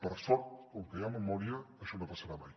per sort com que hi ha memòria això no passarà mai